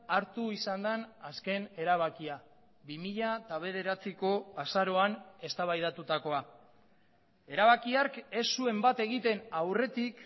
hartu izan den azken erabakia bi mila bederatziko azaroan eztabaidatutakoa erabaki hark ez zuen bat egiten aurretik